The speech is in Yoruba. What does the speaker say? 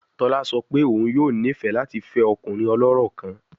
Tola sọ pe oun yoo nifẹ lati fẹ ọkunrin ọlọrọ kan